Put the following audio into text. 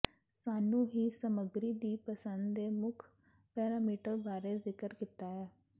ਸਾਨੂੰ ਹੀ ਸਮੱਗਰੀ ਦੀ ਪਸੰਦ ਦੇ ਮੁੱਖ ਪੈਰਾਮੀਟਰ ਬਾਰੇ ਜ਼ਿਕਰ ਕੀਤਾ ਹੈ